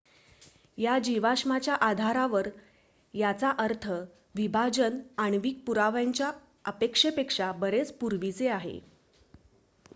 """या जीवाश्माच्या आधारावर याचा अर्थ विभाजन आण्विक पुराव्यांच्या अपेक्षेपेक्षा बरेच पूर्वीचे आहे.